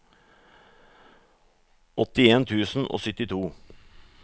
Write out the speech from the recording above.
åttien tusen og syttito